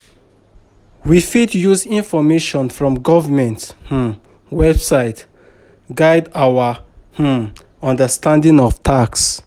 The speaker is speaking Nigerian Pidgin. We fit use information from government um website guide our um understanding of tax